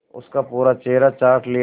उसका पूरा चेहरा चाट लिया